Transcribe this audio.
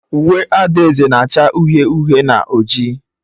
Uwe adaeze na-acha uhie uhie na oji.